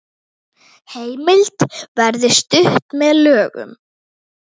Heimild verði stytt með lögum